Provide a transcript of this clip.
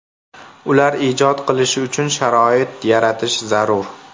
Ular ijod qilishi uchun sharoit yaratish zarur.